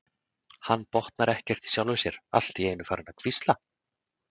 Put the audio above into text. Hann botnar ekkert í sjálfum sér, allt í einu farinn að hvísla.